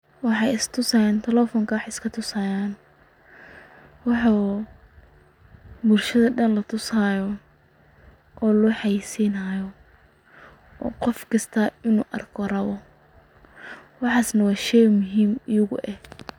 Waxay istusayan talephonka wa tusayan waxa bulshada oo Dan latusayoh oo loxeysinayoh qoofkasto unuvarkoh raboh waxasi wa sheey muhim igu eeh.